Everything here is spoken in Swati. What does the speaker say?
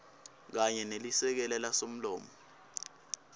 kanye nelisekela lasomlomo